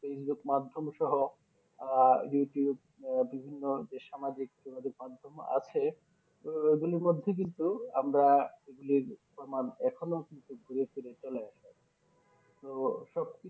Facebook মাধ্যম সোহো আহ Youtube বিভিন্ন যে সামাজিক Theory মাধ্যম আছে তো এগুলির মাধ্যমে কিন্তু আমরা এগুলির প্রমান এখনো কিন্তু গুরেফিরে চলে আসে তো সব